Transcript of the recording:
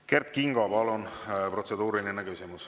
Kert Kingo, palun, protseduuriline küsimus!